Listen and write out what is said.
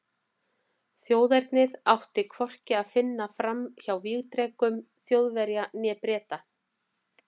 Þjóðernið átti hvorki að fara fram hjá vígdrekum Þjóðverja né Breta.